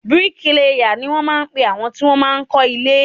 Bíríkilà ni wọn máa ń pe àwọn tí wọn máa ń kọ́ ilé.